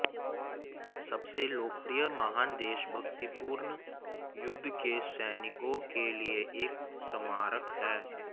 सबसे लोकप्रिय महान देशभक्तिपूर्ण युद्ध के सैनिकों के लिए एक स्मारक है